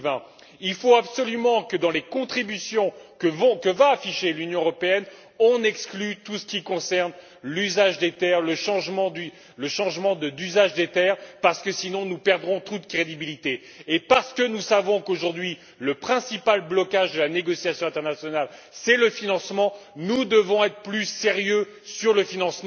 2020. Il faut absolument que, dans les contributions que va afficher l'Union européenne, l'on exclue tout ce qui concerne l'usage des terres, le changement d'usage des terres, parce que sinon, nous perdrons toute crédibilité. Et parce que nous savons qu'aujourd'hui, le principal blocage de la négociation internationale, c'est le financement, nous devons être plus sérieux sur ce point.